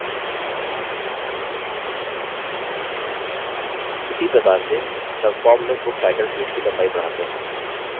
उसी प्रकार से subform में book title field की लम्बाई बढ़ाते हैं